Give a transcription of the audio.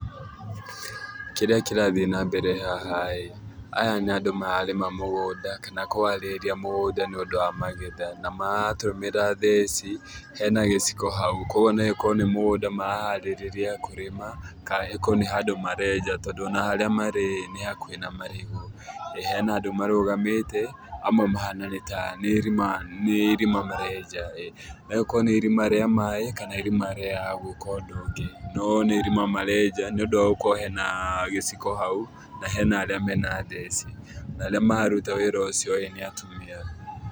Kĩrĩa kĩrathiĩ na mbere haha ĩĩ, aya nĩ andũ mararĩma mũgũnda, kana kũharĩrĩria mũgũnda nĩ ũndũ wa magetha. Na maratũmĩra theci. Hena gĩciko hau, kũguo no ĩkorwo nĩ mũgũnda maraharĩrĩria kũrĩma, ka ĩkorwo nĩ handũ marenja. Tondũ ona harĩa marĩ ĩĩ, nĩ hakuhĩ na marigũ. Nĩ hena andũ marũgamĩte, amwe mahana nĩ ta nĩ irima nĩ irima marenja ĩĩ. No rĩkorwo nĩ irima rĩa maĩ, kana irima rĩa gwĩka ũndũ ũngĩ. No nĩ irima marenja, nĩ ũndũ gũkorwo hena gĩciko hau, na hena arĩa mena theci. Na arĩa mararuta wĩra ũcio ĩĩ nĩ atumia.